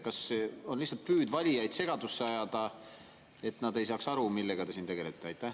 Kas see on lihtsalt püüd valijaid segadusse ajada, et nad ei saaks aru, millega te siin tegelete?